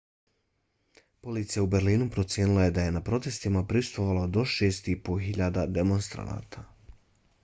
policija u berlinu procijenila je da je na protestima prisustvovalo 6.500 demonstranata